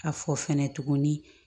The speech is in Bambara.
A fɔ fɛnɛ tuguni